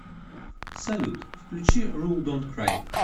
салют включи рул донт край